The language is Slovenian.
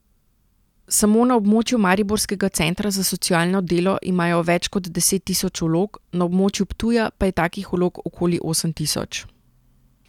Samo na območju mariborskega centra za socialno delo imajo več kot deset tisoč vlog, na območju Ptuja pa je takih vlog okoli osem tisoč.